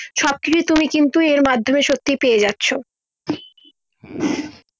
সব কিছু তুমি কিন্তু এর মাধ্যমে সত্যি পেয়ে যাচ্ছো